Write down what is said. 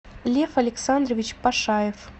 лев александрович пашаев